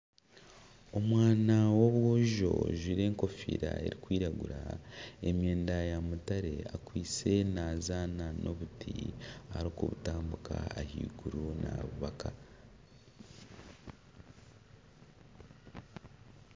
Omwana w'obwojo ajwaire enkofiira erikwiragura emyenda ya mutare akwaitse nazaana n'obuti erikubutambika ahaiguru nabubaka.